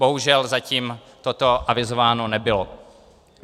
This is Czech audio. Bohužel, zatím toto avizováno nebylo.